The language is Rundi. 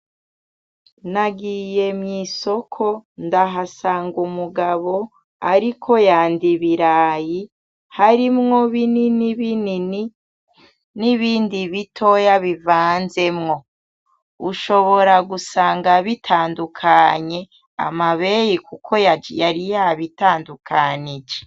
Nagiye mw,isoko ndahasanga umugabo ariko yanda ibirayi harimwo binini binini n,ibindi bitoya bivanzemwo ushobora gusanga bitandukanye amabeyi kuko yari yabitandukanije.